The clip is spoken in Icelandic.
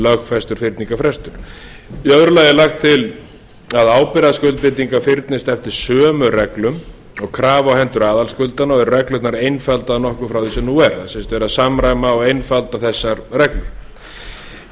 lögfestur fyrningarfrestur í öðru lagi er lagt til að ábyrgðarskuldbindingar fyrnist eftir sömu reglum og krafa á hendur aðalskuldara og að reglurnar einfaldaðar nokkuð frá því sem nú er sem sagt verið að samræma og einfalda þessar reglur í